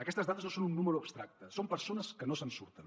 aquestes dades no són un nombre abstracte són persones que no se’n surten